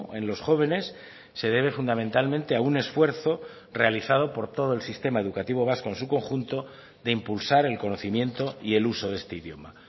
en los jóvenes se debe fundamentalmente a un esfuerzo realizado por todo el sistema educativo vasco en su conjunto de impulsar el conocimiento y el uso de este idioma